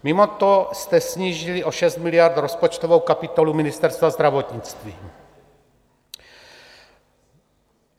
Mimo to jste snížili o 6 miliard rozpočtovou kapitolu Ministerstva zdravotnictví.